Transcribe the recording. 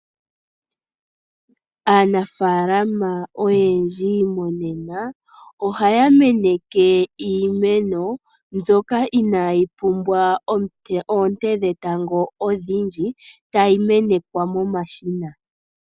Aanafaalama oyendji monena ohaya meneke iimeno mbyoka inaayi pumbwa oonte dhetango odhindji tayi menekwa momashina.